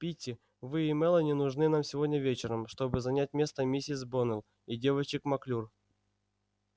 питти вы и мелани нужны нам сегодня вечером чтобы занять место миссис боннелл и девочек маклюр